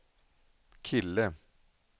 kille